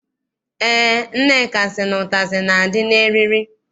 Eé, Nneka sị na ụtazị na- adị n'eriri.